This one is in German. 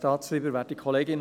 Ist dies richtig?